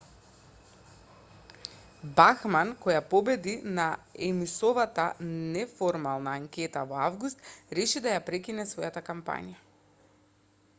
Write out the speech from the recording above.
бахман која победи на ејмсовата неформална анкета во август реши да ја прекине својата кампања